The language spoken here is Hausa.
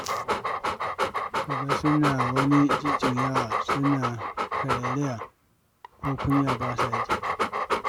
Ka ga suna wani jujjuyawa suna karairaya, ko kunya ba sa ji.